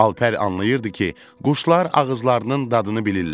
Alper anlayırdı ki, quşlar ağızlarının dadını bilirlər.